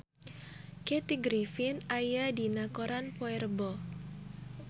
Kathy Griffin aya dina koran poe Rebo